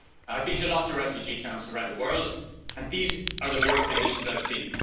I've been to lots of refugee camps around the world, and these are the worst conditions I've seen.